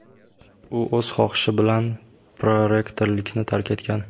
u o‘z xohishi bilan prorektorlikni tark etgan.